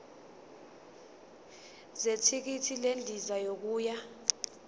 zethikithi lendiza yokuya